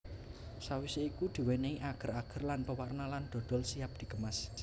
Sawise iku diwenehi ager ager lan pewarna lan dodol siap dikemas